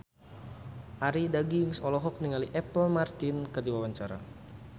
Arie Daginks olohok ningali Apple Martin keur diwawancara